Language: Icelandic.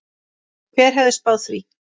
Hver hefði spáð því?